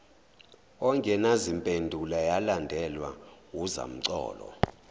engenazimpendulo yalandelwa wuzamcolo